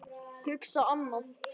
Hugsa annað.